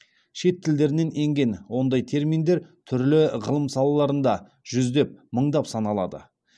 шет тілдерінен енген ондай терминдер түрлі ғылым салаларында жүздеп мыңдап саналады